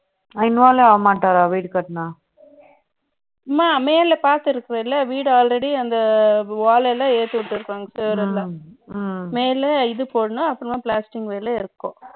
involve ஆக மாட்டாரா வீடு கட்டணும் அம்மா மேல பார்த்திருக்கிறாய் இல்லையா வீடு already அந்த wall எல்லாம் ஏத்துவிட்டு இருக்காங்க சுவர் எல்லாம் மேல இது போடணும் அப்புறம் plastic மேல இருக்கும்